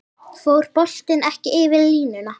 Fór boltinn ekki yfir línuna?